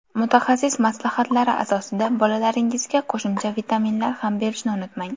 Mutaxassis maslahatlari asosida bolalaringizga qo‘shimcha vitaminlar ham berishni unutmang.